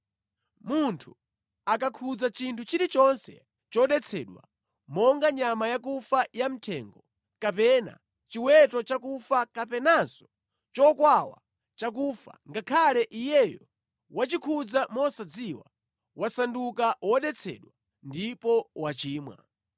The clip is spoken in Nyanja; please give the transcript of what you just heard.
“ ‘Munthu akakhudza chinthu chilichonse chodetsedwa, monga nyama yakufa ya mʼthengo, kapena chiweto chakufa kapenanso chokwawa chakufa, ngakhale iyeyo wachikhudza mosadziwa, wasanduka wodetsedwa ndipo wachimwa.